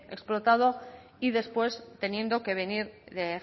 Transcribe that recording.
explotado y después teniendo que venir de